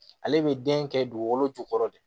Ale bɛ den kɛ dugukolo jukɔrɔ de